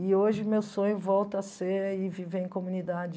E hoje meu sonho volta a ser viver em comunidade...